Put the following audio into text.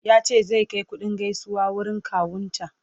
ya ce zai Kai kuɗin gaisuwa wurin kawun ta